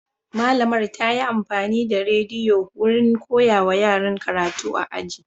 Malamar ta yi amfani da rediyo wurin koyawa yaran karatu a aji.